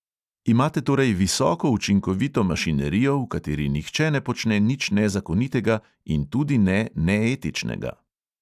Imate torej visoko učinkovito mašinerijo, v kateri nihče ne počne nič nezakonitega in tudi ne neetičnega.